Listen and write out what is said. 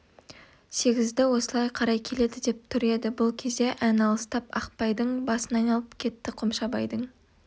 сегізді осылай қарай келеді деп тұр еді бұл кезде ән алыстап ақпайдың басын айналып кетті қомшабайдың